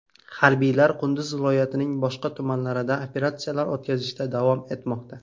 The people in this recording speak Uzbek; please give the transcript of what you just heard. Harbiylar Qunduz viloyatining boshqa tumanlarida operatsiyalar o‘tkazishda davom etmoqda.